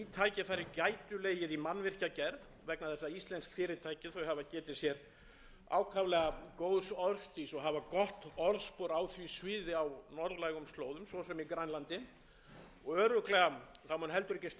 hafa getið sér ákaflega góðs orðstírs og hafa gott orðspor á því sviði á norðlægum slóðum svo sem í grænlandi og örugglega mun ekki standa á íslenskum frumkvöðlum að tengja sig ferðatengdri útgerð norður eftir þar að auki hef ég lengi verið